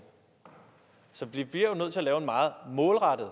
så vi bliver nødt til at lave en meget målrettet